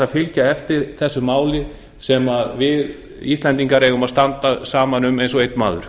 fylgja eftir þessu máli sem við íslendingar eigum að standa saman um eins og einn maður